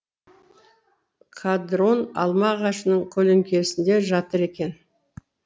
қадрон алма ағашының көлеңкесінде жатыр екен